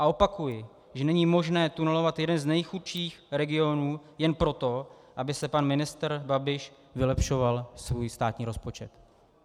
A opakuji, že není možné tunelovat jeden z nejchudších regionů jen proto, aby si pan ministr Babiš vylepšoval svůj státní rozpočet.